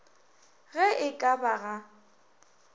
ge e ka ba ga